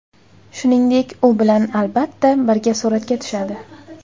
Shuningdek, u bilan, albatta, birga suratga tushadi!